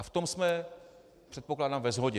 A v tom jsme, předpokládám, ve shodě.